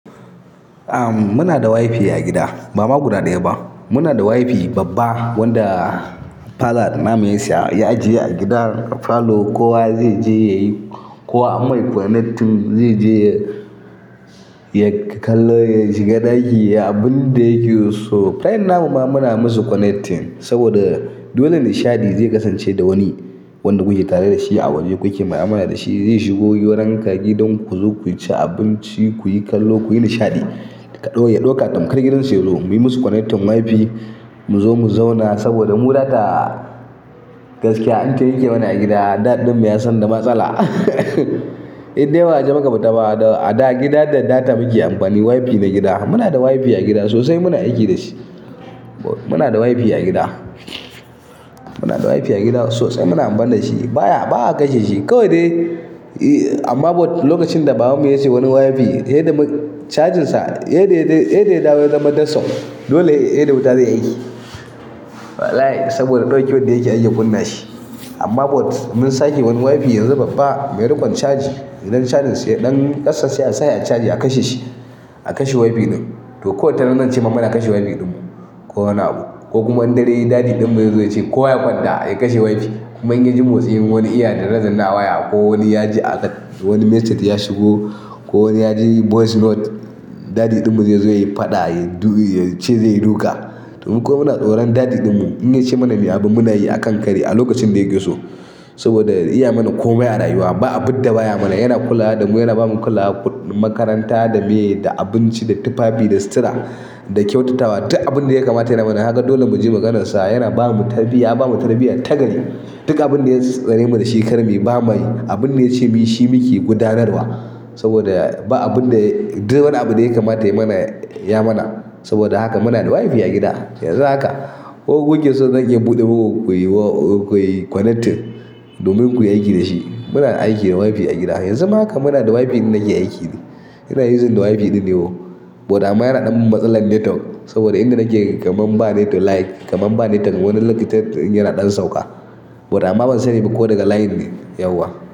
Ahm, muna da WiFi a gida. Bama guda ɗaya ba, muna da WiFi babba wanda faɗa namu ya siya ya ajiye a gidan parlour. Kowa zai je yayi, kowa ammai connecting zai je ya-ya kallo, ya shiga ɗaki ya yi abin da yake so. Faran namu ma muna musu connecting saboda dole nishaɗi zai kasance da wani wanda kuke tare da shi a waje, kuke mu'amala da shi. Zai shigo wurinka gidan ku zo ku ci abinci, kuyi kallo, kuyi nishaɗi. Ka ɗau, ya ɗauka tamkar gidan su yazo mu yi musu connecting WiFi mu zo mu zauna saboda muraga gaskiya an ta yanke mana a gida. Dad ɗin mu ya san da matsala. Indai ba waje muka fita ba da a gida da data muke amfani WiFi na gida. Muna da WiFi a gida sosai muna aiki da shi. Muna da WiFi a gida. Muna da WiFi a gida sosai muna amfani da shi. Ba ya, ba a kashe shi kawai dai amma but lokacin da baban mu ya siyo wani WiFi, yadda mu cajinsa, yadda ya, yadda ya dawo ya zama desktop dole seda wuta zai aiki. Wallahi saboda ɗaukewan da yake ake kunna shi. Amma but mun sake wani WiFi yanzu babba mai riƙon caji. Idan cajin sa ya ɗanyi ƙasa sai a sashi a caji a kashe shi, a kashe WiFi ɗin. To ko wataran nem zance muna a kashe WiFi ɗin mu. Ko wani abu ko kuma in dare yayi daddy ɗin mu ya zo ya ce ko ya faɗa a kashe WiFi. Kuma in ya ji motsin wani iya danne, danne a waya ko wani ya ji a wani message ya shigo ko wani ya ji voice note, daddy ɗin mu zai zo ya yi faɗa, ya ce zai yi duka. To muku muna tsoron daddy ɗin mu. In ya ce mana me abu muna yi akan ƙari a lokacin da yake so saboda ya iya mana komai a rayuwa. Ba abidda baya mana. Yana kula da mu, yana ba mu kula makaranta da miye da abinci da tufafi da sutura da kyautatawa. Duk abin da ya kamata ya mana. Kaga dole mu ji maganarsa. Yana ba mu tarbiya, ya ba mu tarbiyya tagari. Duk abin da ya tsare mu dashi karmuyi bama yi. Abin da ya ce mu yi shi muke gudanarwa saboda ba abin da duk wani abu da ya kamata yai mana ya mana. Saboda haka muna da WiFi a gida. Yanzu haka ko ku ke so zan iya buɗe muku kuyi wa--, kuyi connecting domin kuyi aiki da shi. Muna aiki da WiFi a gida. Yanzu ma haka muna da WiFi nake aiki ne. Ina uzin da WiFi ɗin ne woo. But amma yana ɗan matsalar netwok saboda inda nake kamun ba network like, kamun ba net wani lokutan network ɗin yana ɗan sauka. But amma ban sani ba ko daga line ne, yauwa.